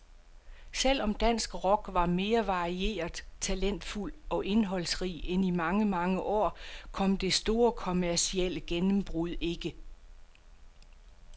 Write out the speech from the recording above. Selv om dansk rock var mere varieret, talentfuld og indholdsrig end i mange, mange år, kom det store kommercielle gennembrud ikke.